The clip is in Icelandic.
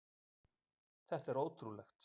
Þetta er ótrúlegt